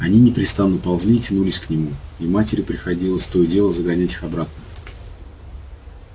они непрестанно ползли и тянулись к нему и матери приходилось то и дело загонять их обратно